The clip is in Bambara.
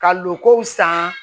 Ka lokow san